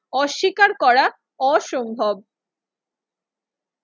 অস্বীকার করা অসম্ভব।